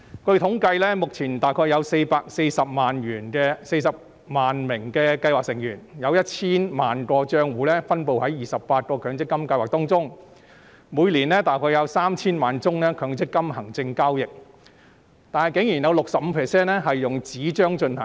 據統計，目前約有440萬名計劃成員、約 1,000 萬個帳戶分布在28個強積金計劃當中，每年約有 3,000 萬宗強積金行政交易，當中以紙張進行的佔 65%。